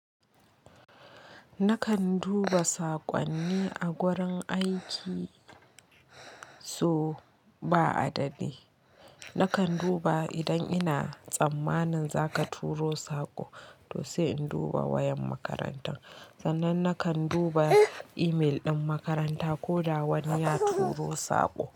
Nakan duba saƙonni a wurin aiki so ba adadi. Nakan duba idan ina tsammanin za ka turo saƙo to sai in duba wayan makaranta. Sannan nakan duba email ɗin makaranta ko da wani ya turo saƙo.